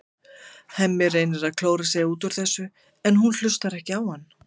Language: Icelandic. Hemmi reynir að klóra sig út úr þessu en hún hlustar ekki á hann.